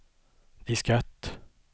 diskett